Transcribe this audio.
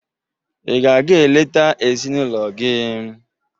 Ị ga-aga eleta ezinụlọ gị?